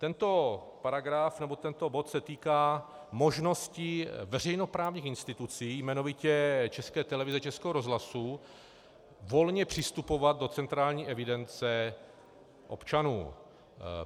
Tento paragraf nebo tento bod se týká možností veřejnoprávních institucí, jmenovitě České televize, Českého rozhlasu, volně přistupovat do centrální evidence občanů.